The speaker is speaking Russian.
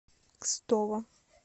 кстово